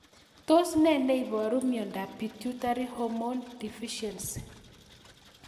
Tos nee neiparu miondop Pituitary hormone deficiency